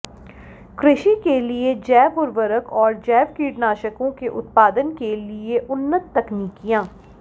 कृषि के लिए जैव उर्वरक और जैव कीटनाशकों के उत्पादन के लिए उन्नत तकनिकीयां